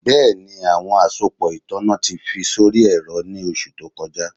Bẹẹni, awọn asopọ itanna ti fi sori ẹrọ ni oṣu to kọja